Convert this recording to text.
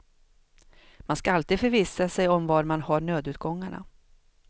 Man ska alltid förvissa sig om var man har nödutgångarna.